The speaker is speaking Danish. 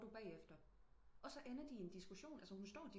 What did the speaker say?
Må du bagefter og så ender de i en diskussion altså hun står